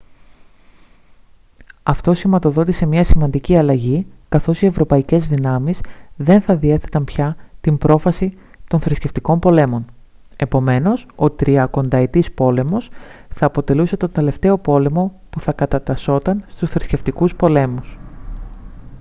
αυτό σηματοδότησε μια σημαντική αλλαγή καθώς οι ευρωπαϊκές δυνάμεις δεν θα διέθεταν πια την πρόφαση των θρησκευτικών πολέμων επομένως ο τριακονταετής πόλεμος θα αποτελούσε τον τελευταίο πόλεμο που θα κατατασσόταν στους θρησκευτικούς πολέμους